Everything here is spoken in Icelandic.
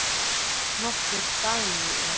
Nokkur dæmi eru